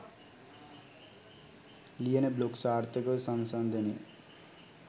ලියන බ්ලොග් සාර්ථකව සංසන්දනය